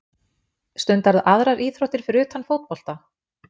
Stundarðu aðrar íþróttir fyrir utan fótbolta?